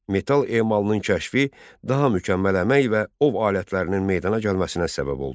Metal emalının kəşfi daha mükəmməl əmək və ov alətlərinin meydana gəlməsinə səbəb oldu.